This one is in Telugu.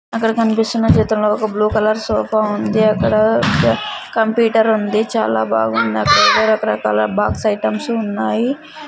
అక్కడ కనిపిస్తున్నా చిత్రం లో ఒక బ్లూ కలర్ సోఫా ఉంది అక్కడ కంప్యూటర్ ఉంది చాల బాగుంది అక్కడ రక రకాలా బాక్స్ ఐటమ్స్ ఉన్నాయి.